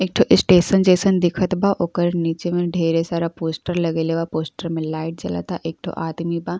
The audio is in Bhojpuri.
एक ठो स्टेशन जइसन दिखत बा। ओकर नीचे में ढेरे सारा पोस्टर लगयले बा। पोस्टर मे लाइट जलाता एक ठो आदमी बा।